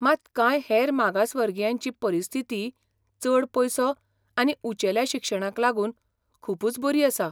मात कांय हेर मागासवर्गीयांची परिस्थिती चड पयसो आनी उंचेल्या शिक्षणाक लागून खूबच बरी आसा.